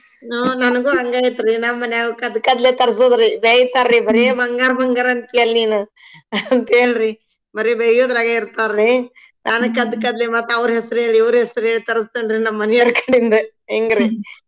ನನ್ಗು ಹಂಗ ಐತ್ರಿ ನಮ್ಮನ್ಯಾಗು ತರ್ಸೋದ್ರಿ ಬೈತಾರ್ರಿ ಬರೇ ಬಂಗಾರ ಬಂಗಾರ ಅಂತೀಯಲ್ ನೀನು ಹಂತೇಳ್ರಿ ಬರೇ ಬಯ್ಯೋದ್ರಾಗ ಇರ್ತಾರ್ರಿ ಅದಕ್ ಅದಕ್ಕದ್ಲಿ ಮತ್ ಅವ್ರ್ ಹೆಸ್ರೇಳಿ ಇವ್ರ್ ಹೆಸ್ರೇಳಿ ತರ್ಸ್ತೇನ್ರಿ ನಮ್ಮನಿಯೋರ್ಕಡಿಂದ ಹೆಂಗರಿ